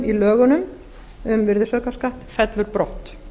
í lögunum um virðisaukaskatt fellur brott